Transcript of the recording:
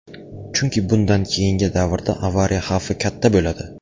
Chunki bundan keyingi davrda avariya xavfi katta bo‘ladi.